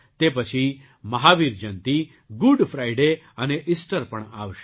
તે પછી Mahavir Jayanti Good Friday અને ઇસ્ટર પણ આવશે